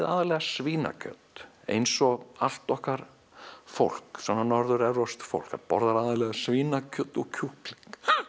aðallega svínakjöt eins og allt okkar fólk Norður evrópskt fólk það borðar aðallega svínakjöt og kjúkling